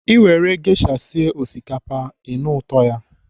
I nwere gesha sie osikapa, ị nụ ụtọ ya.